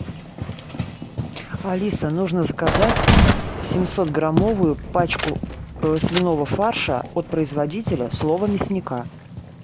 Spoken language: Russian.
алиса нужно заказать семьсот граммовую пачку свиного фарша от производителя слово мясника